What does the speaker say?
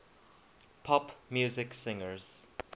pop music singers